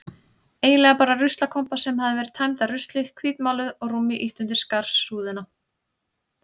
Eiginlega bara ruslakompa sem hafði verið tæmd af ruslinu, hvítmáluð og rúmi ýtt undir skarsúðina.